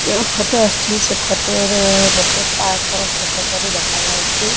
ଯେଉଁ ଫଟୋ ଆସିଛି ସେ ଫଟୋ ରେ ଗୋଟେ ପାର୍କ ର ଫଟୋ ପରି ଦେଖାଯାଉଛି।